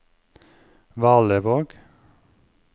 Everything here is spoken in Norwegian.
Valevåg